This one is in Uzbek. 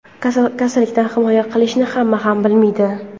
Kasallikdan himoya qilishni hamma ham bilmaydi.